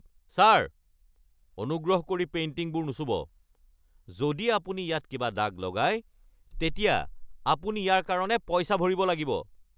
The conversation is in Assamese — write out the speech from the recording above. ছাৰ, অনুগ্ৰহ কৰি পেইণ্টিংবোৰ নুচুব! যদি আপুনি ইয়াত কিবা দাগ লগায়, তেতিয়া আপুনি ইয়াৰ কাৰণে পইচা ভৰিব লাগিব।